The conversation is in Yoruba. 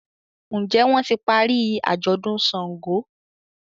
Njé wón tí parí ajọdun ṣàngó?